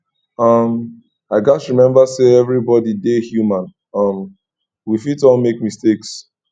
um i gats remember say everybody dey human um we fit all make mistakes